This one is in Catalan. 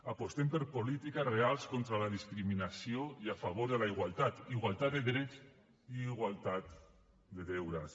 apostem per polítiques reals contra la discriminació i a favor de la igualtat igualtat de drets i igualtat de deures